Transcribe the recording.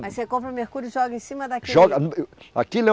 Mas você compra mercúrio e joga em cima daquele?